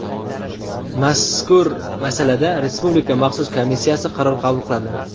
Mazkur masalada Respublika maxsus komissiyasi qaror qabul qiladi.